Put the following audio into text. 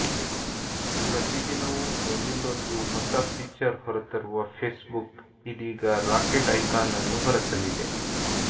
ಪ್ರತಿದಿನವೂ ಒಂದಿಲ್ಲೊಂದು ಹೊಸ ಫೀಚರ್ ಹೊರತರುವ ಫೇಸ್ಬುಕ್ ಇದೀಗ ರಾಕೆಟ್ ಐಕಾನ್ ಅನ್ನು ಹೊರತಂದಿದೆ